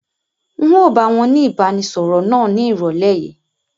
N o báwọn ni ìbánisọọ̀rọ̀ náà ni ìrọ̀lẹ́ yìí.